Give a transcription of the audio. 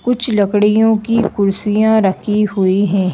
कुछ लकड़ियों की कुर्सियां रखी हुई है।